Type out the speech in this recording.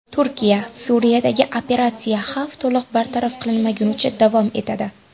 Turkiya: Suriyadagi operatsiya xavf to‘liq bartaraf qilinmagunicha davom etadi.